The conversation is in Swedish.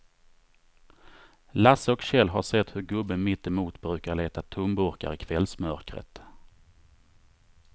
Lasse och Kjell har sett hur gubben mittemot brukar leta tomburkar i kvällsmörkret.